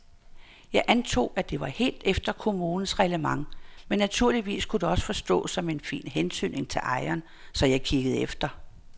Jeg antog, at det var helt efter kommunens reglement men naturligvis kunne det også forstås som en fin hentydning til ejeren, så jeg kiggede efter.